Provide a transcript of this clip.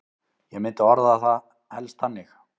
Ég myndi orða það helst þannig.